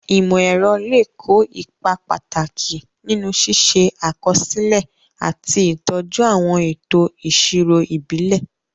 Ìmọ̀-ẹ̀rọ lè kó ipa pàtàkì nínú ṣíṣe àkọsílẹ̀ àti ìtọ́jú àwọn ètò ìṣirò ìbílẹ̀.